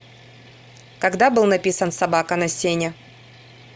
когда был написан собака на сене